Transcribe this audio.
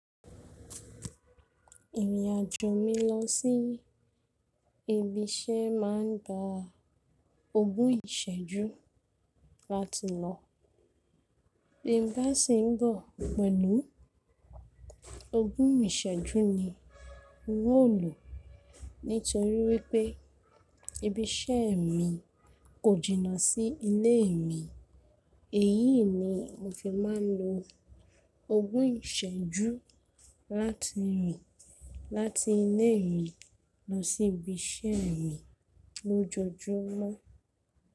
Ìrìn àjò mi lọ sí ibi iṣẹ́ ma ń gba ogún ìṣẹ́jú láti lọ. Reverse ń bọ̀ pẹ̀lú ogún ìṣẹ́jú ni mo lò. Nítorí wípé ibi iṣẹ́ mi kò jìnnà sí ilé mi, èyí ni mo fi máa ń lo ogún ìṣẹ́jú láti rìn láti ilé mi lọ sí ibi iṣẹ́ mi lójoojúmọ́.